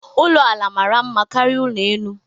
Ulo ala mara mma karịa ụlọ elu